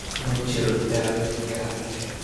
Ma jiro daaweyn gaar ah oo loogu talagalay cudurkan.